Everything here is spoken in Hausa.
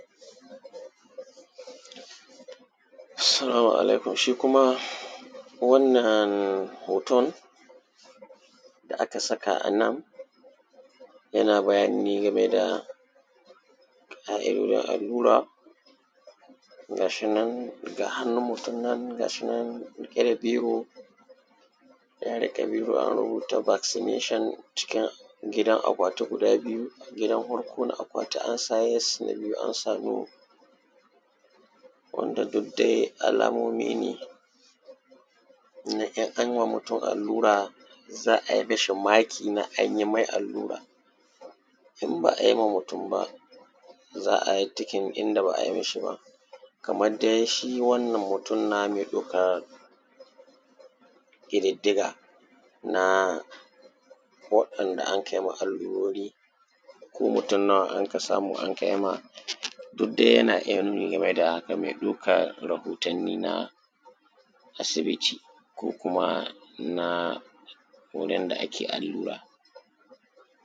salamu alaikum shi kuma wannan hoton da aka saka a nan yana bayani ne game da in an yi wa mutum allura ga shi nan hannun mutum nan ga shi nan riƙe da biro ya riƙe biro an rubuta vaccination cikin gidan akwati guda biyu gidan hwarko na akwati an sa yes na biyu an sa no wanda duk dai alamomi ne na in an yi wa mutum allura za a yi mashi maki na an yi mai allura in ba a yi ma mutum ba za a yi ticking inda ba a yi mishi ba kamar dai shi wannan mutum na mai ɗaukar ƙididdiga na waɗanda anka yi ma allurori ko mutum nawa anka samu anka yi ma duk dai yana iya nuni game da haka mai ɗaukar rahotanni na asibiti ko kuma na wurin da ake allura